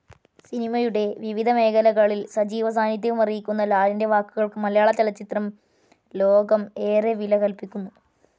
സിനിമയുടെ വിവിധ മേഖലകളിൽ സജീവ സാനിദ്ധ്യമറിയിക്കുന്ന ലാലിൻ്റെ വാക്കുകൾക്ക് മലയാളചലച്ചിത്രം ലോകം ഏറെ വില കൽപ്പിക്കുന്നു.